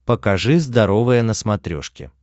покажи здоровое на смотрешке